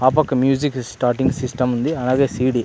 ఆ పక్క music starting system ఉంది. అలాగే సీ. డీ --